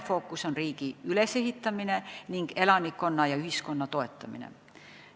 Fookuses on riigi ülesehitamine ja elanikkonna, ühiskonna toetamine.